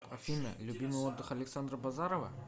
афина любимый отдых александа базарова